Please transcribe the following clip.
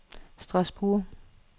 Strasbourg